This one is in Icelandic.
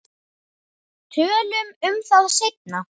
Tölum um það seinna.